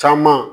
Caman